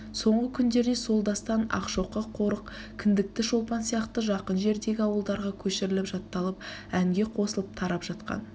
соңғы күндерде сол дастан ақшоқы қорық кіндікті шолпан сияқты жақын жердегі ауылдарға көшіріліп жатталып әнге қосылып тарап жаткан